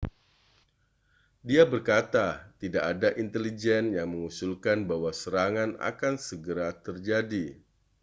dia berkata tidak ada intelijen yang mengusulkan bahwa serangan akan segera terjadi